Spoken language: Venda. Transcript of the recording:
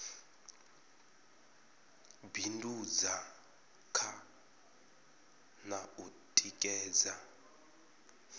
bindudza kha na u tikedza